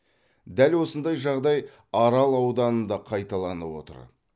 дәл осындай жағдай арал ауданында қайталанып отыр